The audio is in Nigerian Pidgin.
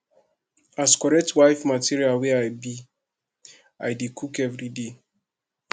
as correct wife material wey i be i dey cook everyday